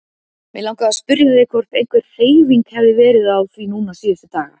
Mig langaði að spyrja þig hvort einhver hreyfing hafi verið á því núna síðustu daga.